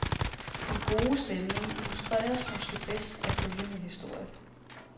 Den gode stemning illustreres måske bedst af følgende historie.